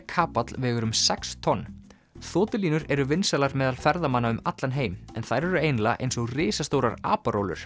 kapall vegur um sex tonn eru vinsælar meðal ferðamanna um allan heim en þær eru eiginlega eins og risastórar